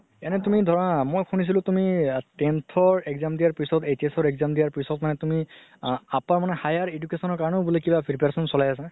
এনে তুমি ধৰা মই শুনিছিলো tenth ৰ exam দিয়া পিছত HS ৰ exam দিয়া পিছত মানে তুমি আ upper মানে higher education ৰ কাৰণেও বুলে preparation চলাই আছে